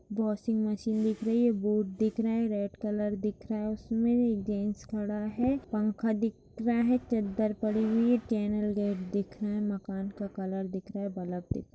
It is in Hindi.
वाशिंग मशीन दिख रही है बोर्ड दिख रहे हैं रेड कलर दिख रहा है उसमे एक जेंट्स खड़ा है पंखा दिख रहा है चद्दर पड़ी हुई है चैनल गेट दिख रहा है मकान का कलर दिख रहा है बल्ब दिख --